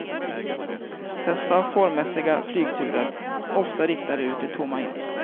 Dessa formmässiga flygturer, ofta riktade ut i tomma intet.